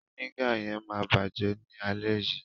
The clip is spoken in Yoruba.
Fínégà yẹn ma bajẹ ni alẹ́ yii.